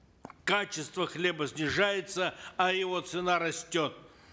качество хлеба снижается а его цена растет